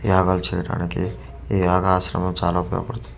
యాగాలు చేయడానికి ఈ యాగాశ్రమం చాలా ఉపయోగ పడుతుంది.